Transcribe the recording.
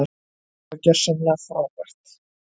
Þetta var gjörsamlega frábært.